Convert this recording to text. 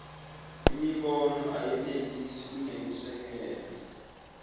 imibono ayenelisi kunekusekela